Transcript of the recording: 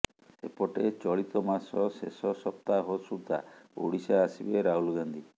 ସେପଟେ ଚଳିତମାସ ଶେଷ ସପ୍ତାହ ସୁଦ୍ଧା ଓଡ଼ିଶା ଆସିବେ ରାହୁଲ ଗାନ୍ଧୀ